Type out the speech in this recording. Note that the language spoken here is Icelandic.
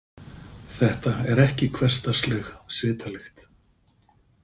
Þetta er ekki hversdagsleg svitalykt.